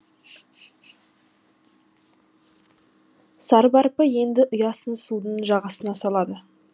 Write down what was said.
сарбарпы енді ұясын судың жағасына салады